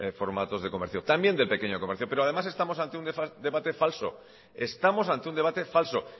formatos de comercio también del pequeño comercio pero además estamos ante un debate falso estamos ante un debate falso